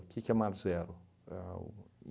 O que que é mar zero? A o